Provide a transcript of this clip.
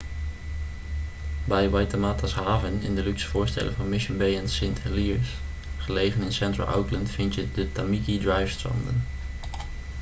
bij waitemata's haven in de luxe voorsteden van mission bay en st heliers gelegen in central auckland vind je de tamaki drive-stranden